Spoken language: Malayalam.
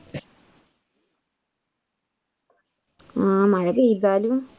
ആ മഴപെയ്താലും